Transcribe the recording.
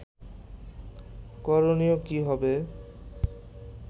করণীয় কী হবে